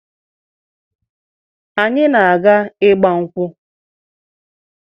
Anyị na-aga ịgba nkwụ.